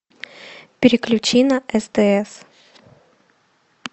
переключи на стс